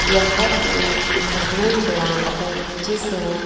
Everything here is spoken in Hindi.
यह एक थर्मल प्लांट है जिसमें--